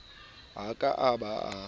ha a ka a ba